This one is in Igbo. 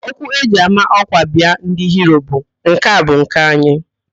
Okwu eji ama ọ́kwà biaa ndị Hiro bụ, "nke a bu nke anyị"